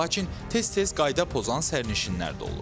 Lakin tez-tez qayda pozan sərnişinlər də olur.